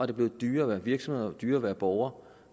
er blevet dyrere at være virksomhed og dyrere at være borger